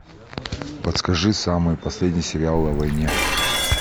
подскажи самый последний сериал о войне